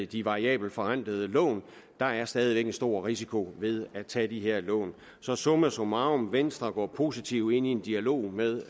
de variabelt forrentede lån der er stadig væk en stor risiko ved at tage de her lån så summa summarum venstre går positivt ind i en dialog med